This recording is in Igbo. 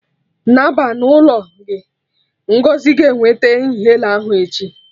Naba na ụlọ gị! Ngọzi ga-eweta inhaler ahụ echi